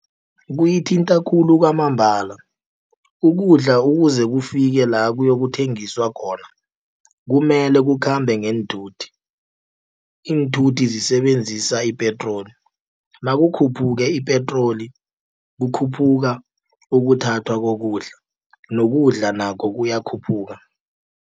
Kuyithinta khulu kwamambala, ukudla ukuze kufike la kuyokuthengiswa khona kumele kukhambe ngeenthuthi. Iinthuthi zisebenzisa ipetroli nakukhuphuke ipetroli kukhuphuka ukuthathwa kokudla, nokudla nakho kuyakhuphuka.